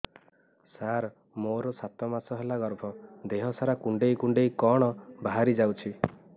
ସାର ମୋର ସାତ ମାସ ହେଲା ଗର୍ଭ ଦେହ ସାରା କୁଂଡେଇ କୁଂଡେଇ କଣ ବାହାରି ଯାଉଛି